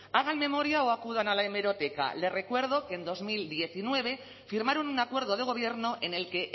hagan memoria o acudan a la hemeroteca les recuerdo que en dos mil diecinueve firmaron un acuerdo de gobierno en el que